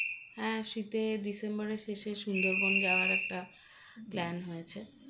হ্যাঁ শীতে ডিসেম্বরের শেষে সুন্দরবন যাওয়ার একটা plan হয়েছে